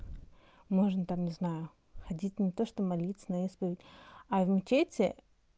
можно там не знаю ходить не то что молиться на исповедь а в мечети